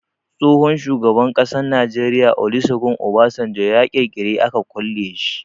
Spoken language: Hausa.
Tsohon shugaban ƙasan Najeriya Olusegun Obasanjo a kirikiri aka kulle shi.